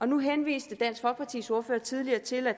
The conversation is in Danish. nu henviste dansk folkepartis ordfører tidligere til at